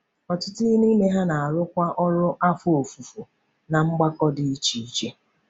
Ọtụtụ n’ime ha na-arụkwa ọrụ afọ ofufo ná mgbakọ dị iche iche.